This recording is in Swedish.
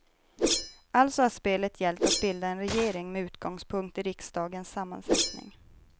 Alltså har spelet gällt att bilda en regering med utgångspunkt i riksdagens sammansättning.